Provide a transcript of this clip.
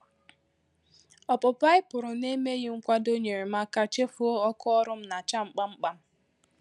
Ọpụpụ a ànyị pụrụ na emeghị mkwado nyeere m aka chefuo ọkụ ọrụ m na acha m kpamkpam